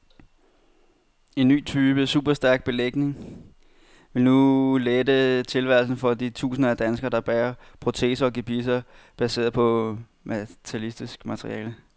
En ny type superstærk belægning vil nu lette tilværelsen for de tusinder af danskere, der bærer proteser og gebisser baseret på metallisk materiale.